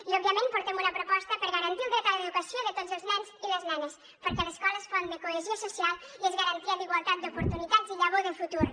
i òbviament portem una proposta per garantir el dret a l’educació de tots els nens i les nenes perquè l’escola és font de cohesió social i és garantia d’igualtat d’oportunitats i llavor de futur